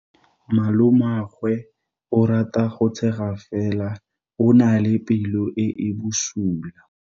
Malomagwe o rata go tshega fela o na le pelo e e bosula.